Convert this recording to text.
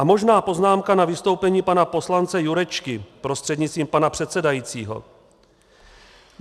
A možná poznámka na vystoupení pana poslance Jurečky prostřednictvím pana předsedajícího.